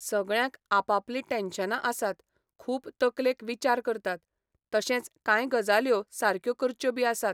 सगळ्यांक आप आपलीं टॅन्शनां आसता, खूब तकलेंत विचार आसता, तशेंच कांय गजाल्यो सारक्यो करच्यो बी आसात.